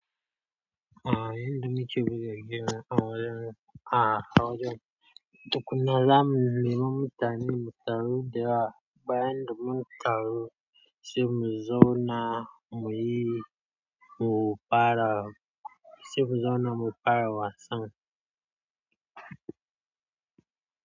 A'a, yanda muke buga game awajan. A awajan. Tukkuna zamu nemi mutane ne mu taru dayawa. Bayan da mun taru sai mu zauna muyi mu fara, sai mu zauna mu fara wasan.